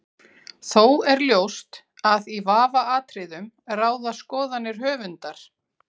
Þó er ljóst að í vafaatriðum ráða skoðanir höfundar.